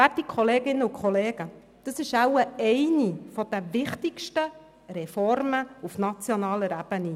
Werte Kolleginnen und Kollegen, das ist wohl eine der wichtigsten Reformen auf nationaler Ebene.